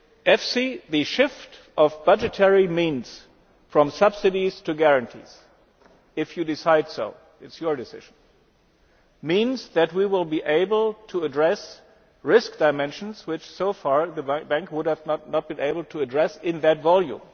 EFSI, the shift of budgetary means from subsidies to guarantees, if you so decide it is your decision means that we will be able to address risk dimensions which until now the Bank would not have been able to address in that volume.